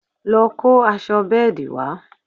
lọ kó aṣọ bẹ́ẹ̀dì wa